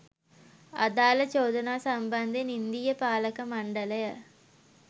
අදාළ චෝදනා සම්බන්ධයෙන් ඉන්දීය පාලක මණ්ඩලය